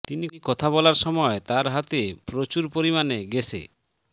তিনি কথা বলার সময় তার হাতে প্রচুর পরিমাণে গেসে